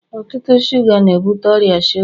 ọtụtụ shuga na-ebute ọrịa shuga